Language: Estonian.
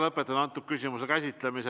Lõpetan selle küsimuse käsitlemise.